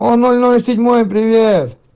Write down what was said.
о ноль ноль седьмое привет